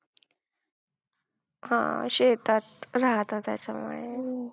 हा, शेतात राहता त्याच्यामुळे.